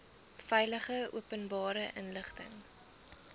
veilig openbare inligting